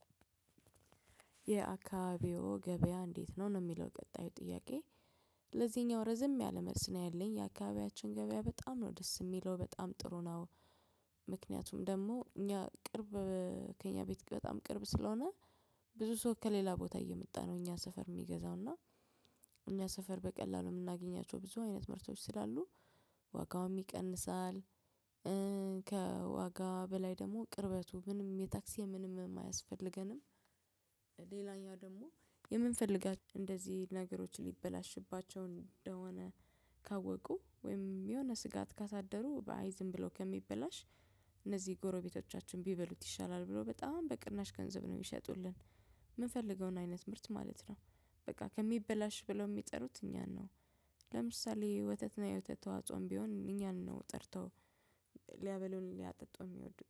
የአካባቢዎ ገበያ እንዴት ነው? ነው የሚለው ቀጣይ ጥያቄ። ለዚኛው ረዘም ያለ መልስ ነው ያለኝ። ያካባቢያችን ገበያ በጣም ነው ደስ ሚለው። በጣም ጥሩ ነው። ምክንያቱም ደሞ እኛ ቅርብ ከእኛ ቤት በጣም ቅርብ ስለሆነ ብዙ ሰው ከሌላ ቦታ እየመጣ ነው እኛ ሰፈር የሚገዛው። እና እኛ ሰፈር በቀላሉ ምናገኛቸው ብዙ አይነት ምርቶች ስላሉ ዋጋውም ይቀንሳል እ ከዋጋ በላይ ደሞ ቅርበቱ ምንም የታክሲ የምንምም አያስፈልገንም። ልላኛው ደሞ የምንፈልጋ እንደዚ ነገሮች ሊበላሽባቸው እንደሆነ ካወቁ ወይም የሆነ ስጋት ካሳደሩ ባይ ዝም ብሎ ከሚበላሽ እነዚ ጎረቤቶቻችን ቢበሉት ይሻላል ብሎ በጣም በቅናሽ ገንዘብ ነው ሚሸጡልን። ምንፈልገውን አይነት ምርት ማለት ነው። በቃ ከሚበላሽ ብለው ሚጥሩት እኛን ነው። ለምሳሌ ወተትና የወተት ተዋጽኦም ቢሆን እኛን ነው ጠርተው ሊያበሉን ሊያጠጡ እሚወዱ